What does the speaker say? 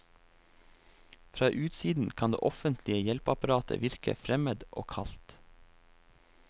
Fra utsiden kan det offentlige hjelpeapparatet virke fremmed og kaldt.